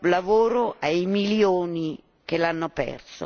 lavoro ai milioni che l'hanno perso.